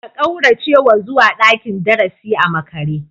Ka kauracewa zuwa dakin darasi a makare?